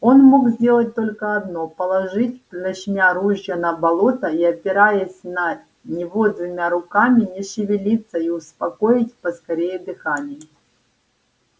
он мог сделать только одно положить плашмя ружье на болото и опираясь на него двумя руками не шевелиться и успокоить поскорее дыхание